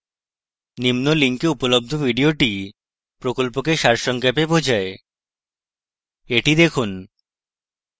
নিম্ন link উপলব্ধ video প্রকল্পকে সারসংক্ষেপে বোঝায় the দেখুন